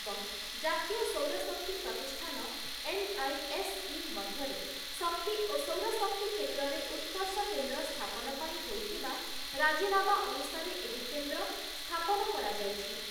ଏବଂ ଜାତୀୟ ସୌର ଶକ୍ତି ପ୍ରତିଷ୍ଠାନ ଏନ୍‌ଆଇଏସ୍‌ଇ ମଧ୍ୟରେ ଶକ୍ତି ଓ ସୌରଶକ୍ତି କ୍ଷେତ୍ରରେ ଉତ୍କର୍ଷ କେନ୍ଦ୍ର ସ୍ଥାପନ ପାଇଁ ହୋଇଥିବା ରାଜିନାମା ଅନୁସାରେ ଏହି କେନ୍ଦ୍ର ସ୍ଥାପନ କରାଯାଇଛି ।